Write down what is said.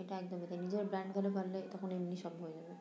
এটা একদমই তাই নিজে brand হতে পারলে তখন এমনি সব হয় যাবে